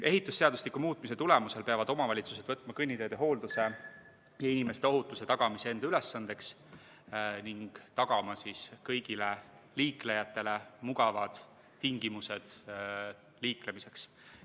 Ehitusseadustiku muutmise tulemusel peaksid omavalitsused võtma kõnniteede hoolduse ja inimeste ohutuse tagamise enda ülesandeks ning tagama kõigile liiklejatele mugavad tingimused liiklemiseks.